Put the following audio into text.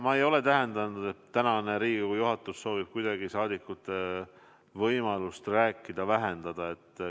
Ma ei ole täheldanud, et praegune Riigikogu juhatus soovib kuidagi saadikute võimalust rääkida vähendada.